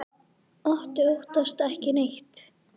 Otti óttast ekki neitt!